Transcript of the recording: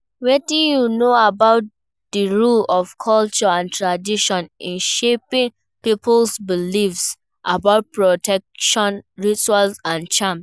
Wetin you know about di role of culture and tradition in shaping people's beliefs about protection rituals and charms?